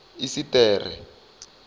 esiṱere